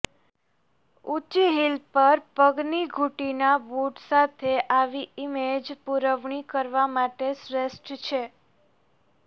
ઊંચી હીલ પર પગની ઘૂંટીના બૂટ સાથે આવી ઇમેજ પુરવણી કરવા માટે શ્રેષ્ઠ છે